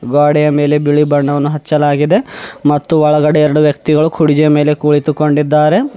ಗ್ವಾಡೆಯ ಮೇಲೆ ಬಿಳಿ ಬಣ್ಣವನ್ನು ಹಚ್ಚಲಾಗಿದೆ ಮತ್ತು ಒಳಗಡೆ ಎರಡು ವ್ಯಕ್ತಿಗಳು ಕುರ್ಜಿ ಯ ಮೇಲೆ ಕುಳಿತುಕೊಂಡಿದ್ದಾರೆ.